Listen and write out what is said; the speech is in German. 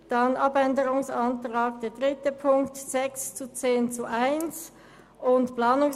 Anschliessend hat noch der Co-Antragsteller Grossrat Sancar das Wort für die grüne Fraktion.